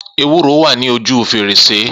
Ewúro wa ní ojú fèrèsé